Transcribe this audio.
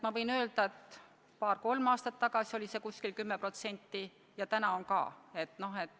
Ma võin öelda, et paar-kolm aastat tagasi oli see umbes 10% ja praegu on ka.